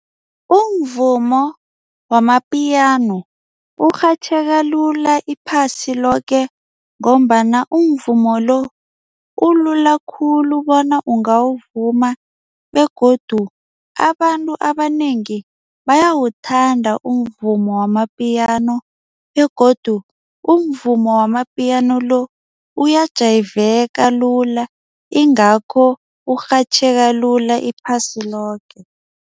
Umvumo wama-Piano urhatjheka lula iphasi loke ngombana umvumo lo ulula khulu bona ungawuvuma begodu abantu abanengi bayawuthanda umvumo wama-Piano begodu umvumo wama-Piano lo uyajayiveka lula ingakho urhatjheka lula iphasi loke.